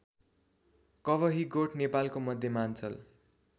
कवहीगोठ नेपालको मध्यमाञ्चल